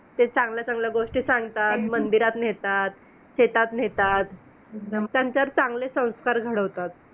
अधोगती यदाचित ज्याप्रमाणे अधो भागाकडे वहन होते त्याप्रमाणे ह्रदयसत्त आहार रसाचे देखील हृदयाच्या खालच्या दिशेने विक्षेपण होते . आहार रसाचे स्वरूप